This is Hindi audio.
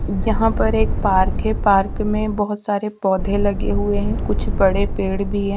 यहां पर एक पार्क है पार्क में बहोत सारे पौधे लगे हुए हैं कुछ बड़े पेड़ भी हैं।